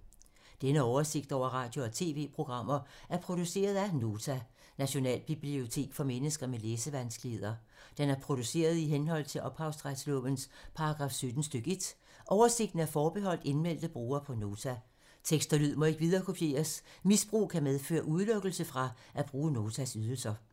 Denne oversigt over radio og TV-programmer er produceret af Nota, Nationalbibliotek for mennesker med læsevanskeligheder. Den er produceret i henhold til ophavsretslovens paragraf 17 stk. 1. Oversigten er forbeholdt indmeldte brugere på Nota. Tekst og lyd må ikke viderekopieres. Misbrug kan medføre udelukkelse fra at bruge Notas ydelser.